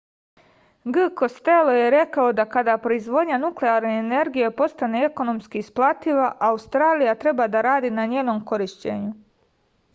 g kostelo je rekao da kada proizvodnja nuklarne energije postane ekonomski isplativa australija treba da radi na njenom korišćenju